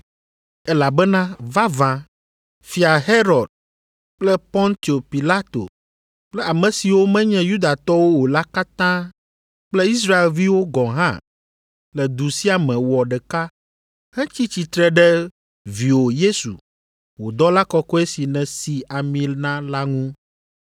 Elabena vavã, Fia Herod kple Pontio Pilato kple ame siwo menye Yudatɔwo o la katã kple Israelviwo gɔ̃ hã le du sia me wɔ ɖeka hetsi tsitre ɖe Viwò Yesu, wò dɔla kɔkɔe si nèsi ami na la ŋu.